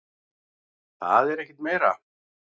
Það er ekki meira.